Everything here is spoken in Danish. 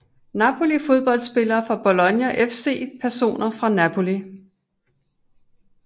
Napoli Fodboldspillere fra Bologna FC Personer fra Napoli